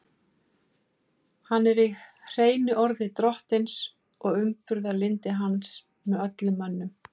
Hann er í hreinu orði drottins og umburðarlyndi hans með öllum mönnum.